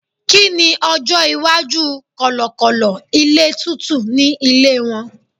kini ọjọ iwaju kọlọkọlọ ilé tútù ni ilé won